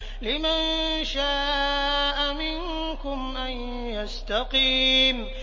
لِمَن شَاءَ مِنكُمْ أَن يَسْتَقِيمَ